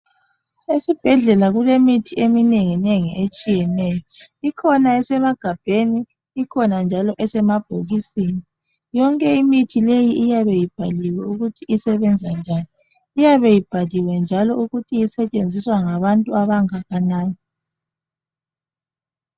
Esibhedlela kulemithi eminenginengi etshiyeneyo, ikhona esemagabheni ikhona njalo esemabhokisini yonke imithi leyi iyabe ibhaliwe ukuthi isebenza njani iyabe ibhaliwe njalo ukuthi isetshenziswa ngabantu abangakanani.